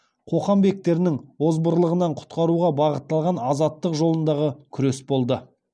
қоқан бектерінің озбырлығынан құтқаруға бағытталған азаттық жолындағы күрес болды